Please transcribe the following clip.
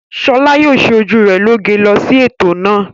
Ṣọlá yóò ṣe ojú rẹ̀ lóge lọ sí ètò náà.